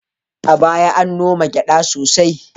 A baya an noma gyada sosai